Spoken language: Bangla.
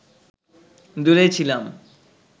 দূরে ছিলাম